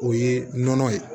O ye nɔnɔ ye